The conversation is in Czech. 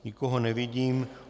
Nikoho nevidím.